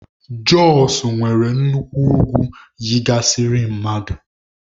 Jọsụ nwere nnukwu ugwu yigasịrị mmadụ